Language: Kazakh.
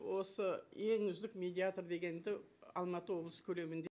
осы ең үздік медиатор дегенді алматы облысы көлемінде